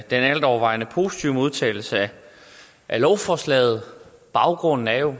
den altovervejende positive modtagelse af lovforslaget baggrunden er jo